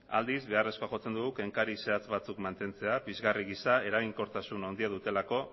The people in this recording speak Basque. aldiz beharrezkoa jotzen dugu kenkari zehatz batzuk mantentzea pizgarri gisa eraginkortasun handia dutelako